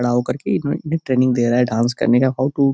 खड़ा होकर के एक मिनट में ट्रेनिंग दे रहा है डांस करने का हाउ टू --